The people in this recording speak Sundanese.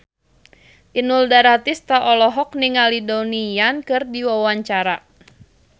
Inul Daratista olohok ningali Donnie Yan keur diwawancara